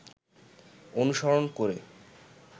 অনুসরণ করে